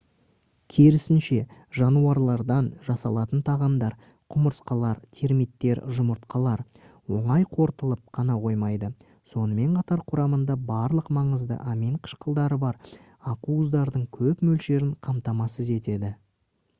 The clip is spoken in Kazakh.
керісінше жануарлардан жасалатын тағамдар құмырсқалар термиттер жұмыртқалар оңай қорытылып қана қоймайды сонымен қатар құрамында барлық маңызды амин қышқылдары бар ақуыздардың көп мөлшерін қамтамасыз етеді